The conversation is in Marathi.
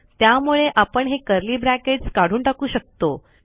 त्यामुळे आपण हे कर्ली ब्रॅकेट्स काढून टाकू शकतो